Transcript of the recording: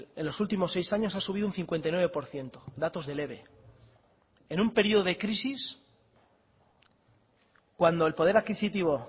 en los últimos seis años ha subido un cincuenta y nueve por ciento datos del eve en un periodo de crisis cuando el poder adquisitivo